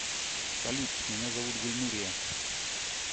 салют меня зовут гульнурия